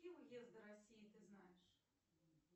какие уезды россии ты знаешь